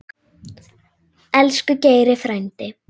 Elsku Geiri frændi.